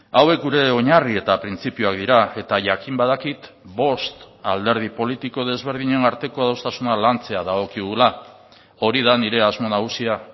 hauek gure oinarri eta printzipioak dira eta jakin badakit bost alderdi politiko desberdinen arteko adostasuna lantzea dagokigula hori da nire asmo nagusia